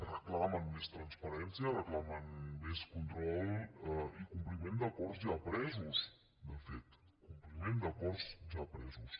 reclamen més transparència reclamen més control i compliment d’acords ja presos de fet compliment d’acords ja presos